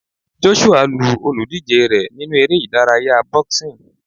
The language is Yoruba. Joshua lu olùdíje rẹ̀ nínú eré ìdárayá boxing.